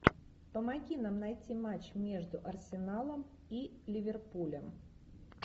помоги нам найти матч между арсеналом и ливерпулем